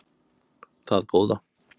Það góða